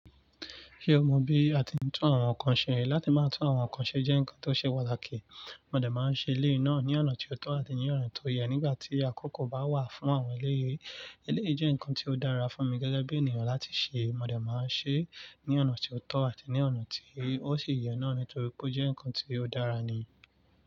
Ṣé o mọ bí a ti ń tún àwọn nǹkan ṣe? Láti máa tún àwọn nǹkan ṣe jẹ́ nǹkan tó ṣe pataki. Mo dẹ̀ máa ń ṣe eleyio náà ní ọ̀nà tó tọ́ àti ní ọ̀na tó yẹ nígbà tí àkókò bá wà fún àwọn eleyìí. Eleyìí jẹ́ nǹkan tí ó dára fún mi gẹ́gẹ́ bí ènìyàn láti ṣe. Mo dẹ̀ máa ń ṣe é ní ọ̀nà ti o tọ́ àti ní ọ̀nà tí ó sì yẹ náà nítorí pé ó jẹ́ nǹkan tí ó dára ni.